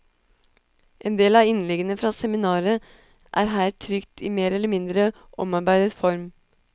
En del av inleggene fra seminaret er her trykt i mer eller midnre omarbeidet form.